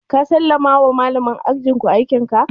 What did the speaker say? Ka sallama wa malamin ajin ku aikin ka?